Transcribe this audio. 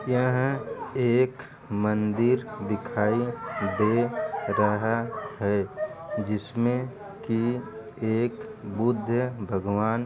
यहा एक मंदिर दिखायी दे रहा है जिसमें की एक बुद्ध भगवान् --